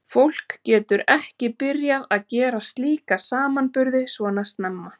Fólk getur ekki byrjað að gera slíka samanburði svona snemma.